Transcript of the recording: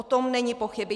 O tom není pochyb.